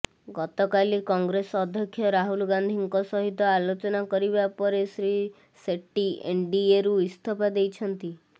ଗତକାଲି କଂଗ୍ରେସ ଅଧ୍ୟକ୍ଷ ରାହୁଲ ଗାନ୍ଧୀଙ୍କ ସହିତ ଆଲୋଚନା କରିବା ପରେ ଶ୍ରୀ ସେଟ୍ଟି ଏନ୍ଡିଏରୁ ଇସ୍ତଫା ଦେଇଛନ୍ତି